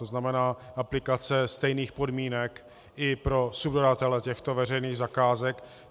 To znamená aplikace stejných podmínek i pro subdodavatele těchto veřejných zakázek.